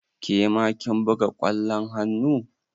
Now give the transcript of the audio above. Ke ma kin buga ƙwallon hannu?